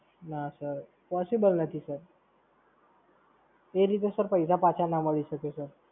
ના Sir possible નથી Sir એ રીતે Sir પૈસા પાછા ના મળી શકે Sir